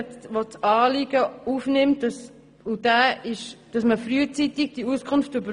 Dieser nimmt das Anliegen auf, indem man die Auskunft frühzeitig erhalten soll.